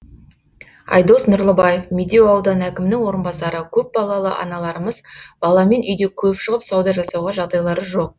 айдос нұрлыбаев медеу ауданы әкімінің орынбасары көпбалалы аналарымыз баламен үйде көп шығып сауда жасауға жағдайлары жоқ